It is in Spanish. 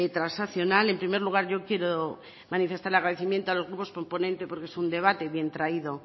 transaccional en primer lugar yo quiero manifestar el agradecimiento a los grupos proponentes porque es un debate bien traído